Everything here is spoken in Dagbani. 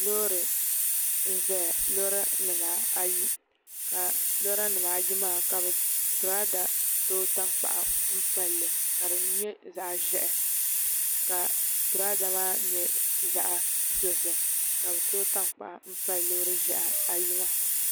Loori n ʒɛya lora nim ayi ka lora nimaayi maa ka girada tooi tankpaɣu palli ka di nyɛ zaɣ ʒiɛhi ka girada maa nyɛ zaɣ dozim ka bi tooi tankpaɣu n pali loori ʒiɛhi ayi maa